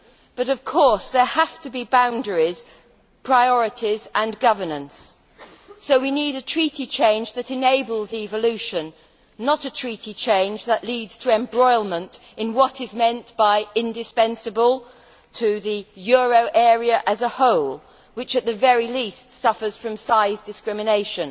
But, of course, there have to be boundaries, priorities and governance. So we need a Treaty change that enables evolution, not a Treaty change that leads to embroilment in what is meant by indispensable to the euro area as a whole', which, at the very least, suffers from size discrimination.